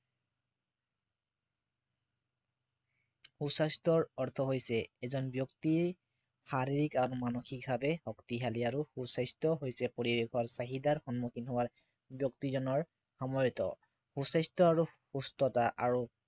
সু স্বাস্থ্য়ৰ অৰ্থ হৈছে এজন ব্য়ক্তিয়ে শাৰীৰিক আৰু মানসিকভাৱে শক্তিশালী আৰু সু স্বাস্থ্য় হৈছে পৰিবেশৰ চাহিদাৰ সন্মূখীন হোৱাৰ ব্য়ক্তিজনৰ সময়ত সু স্বাস্থ্য় আৰু সুস্থতা আৰু